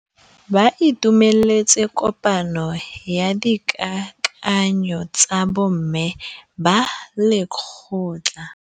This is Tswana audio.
Ba itumeletse kôpanyo ya dikakanyô tsa bo mme ba lekgotla.